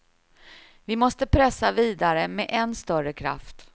Vi måste pressa vidare med än större kraft.